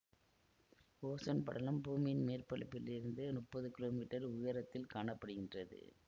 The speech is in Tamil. ஓசோன் படலம் பூமியின் மேற்பரப்பிலிருந்து முப்பது கிலோ மீட்டர் உயரத்தில் காண படுகின்றது